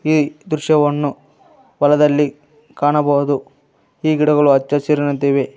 ಈ ದೃಶ್ಯವನ್ನು ಹೊಲದಲ್ಲಿ ಕಾಣಬಹುದು ಈ ಗಿಡಗಳು ಅಚ್ಚಹಸಿರಿನಂತಿವೆ.